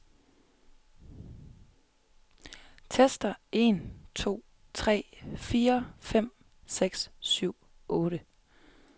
Tester en to tre fire fem seks syv otte.